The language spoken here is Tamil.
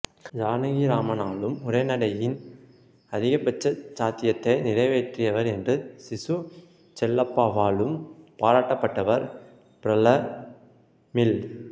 ஜானகிராமனாலும் உரைநடையின் அதிகபட்ச சாத்தியத்தை நிறைவேற்றியவர் என்று சி சு செல்லப்பாவாலும் பாராட்டப்பட்டவர் பிரமிள்